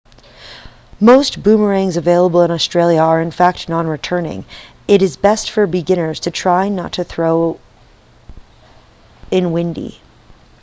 most boomerangs available in australia are in fact non-returning it is best for beginners to not try throwing in windy